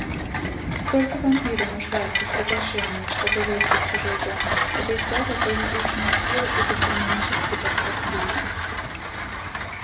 только вампиры нуждаются в приглашении чтобы войти в чужой дом это их плата за излишнюю силу и гастрономический подход к людям